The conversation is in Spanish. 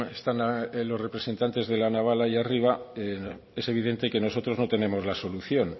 están los representante de la naval allí arriba es evidente que nosotros no tenemos la solución